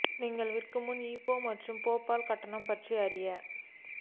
நீங்கள் விற்க முன் ஈபே மற்றும் பேபால் கட்டணம் பற்றி அறிய